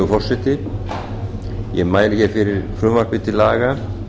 virðulegi forseti ég mæli hér fyrir frumvarpi til laga